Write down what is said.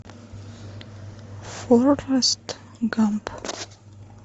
форест гамп